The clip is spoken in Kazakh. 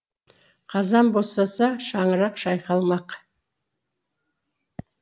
қазан босаса шаңырақ шайқалмақ